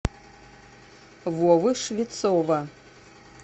вовы швецова